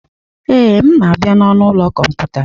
Ee, m na-abịa n'ọnụ ụlọ kọmputa.